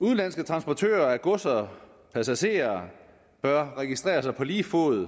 udenlandske transportører af gods og passagerer bør registreres på lige fod